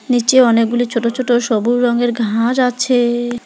নিচে অনেকগুলি ছোট ছোট সবুজ রঙের ঘাস আছে।